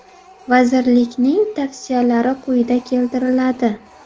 Vazirlikning tavsiyalari quyida keltiriladi.